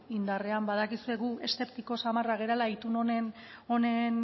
indarrean badakizue gu eszeptiko samarrak garela itun honen